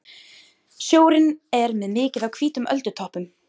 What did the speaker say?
Sjórinn var með mikið af hvítum öldutoppum.